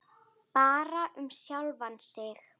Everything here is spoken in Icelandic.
Bara um sjálfan sig.